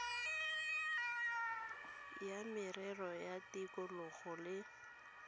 la merero ya tikologo le